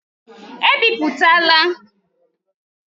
Ebipụtala!